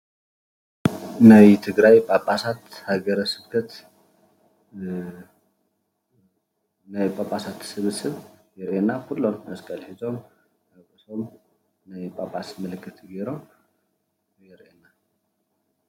ናይ ትግራይ ጳጳሳት ሃገረስብከት ናይ ጳጳስት ሰብስብ የርእየና። ኩሎም መስቀል ሒዞም ናይ ጳጳስ ምልክት ገይሮም ይረአየና